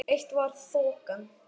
Eitt var þokan.